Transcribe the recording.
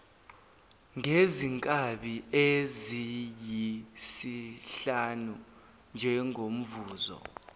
ngezinkabi eziyisihlanu njengomvuzo